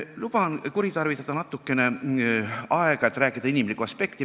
Luban endale aega natuke kuritarvitada, et rääkida inimlikust aspektist.